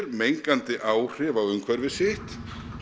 mengandi áhrif á umhverfi sitt